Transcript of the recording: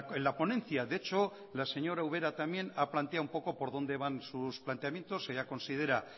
en la ponencia de hecho la señora ubera también ha planteado un poco por dónde van sus planteamientos ella considera